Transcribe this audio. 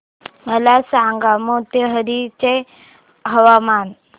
मला सांगा मोतीहारी चे हवामान